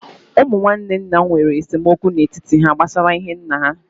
Ụmụ nwanne nna m nwèrè esemokwu n'etiti há gbásárá ihe nnà ha